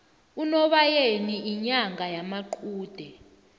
unobayeni inyanga yamaqude